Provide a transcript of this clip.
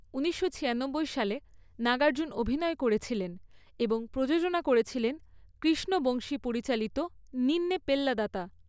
ঊনিশশো ছিয়ানব্বই সালে, নাগার্জুন অভিনয় করেছিলেন এবং প্রযোজনা করেছিলেন কৃষ্ণ বংশী পরিচালিত নিন্নে পেল্লাদাতা।